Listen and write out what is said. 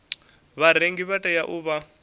vharengi vha tea u vha